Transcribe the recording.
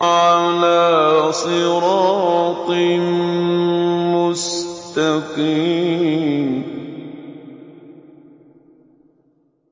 عَلَىٰ صِرَاطٍ مُّسْتَقِيمٍ